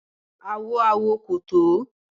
Awo awo ko to